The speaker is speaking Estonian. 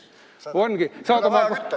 Ongi!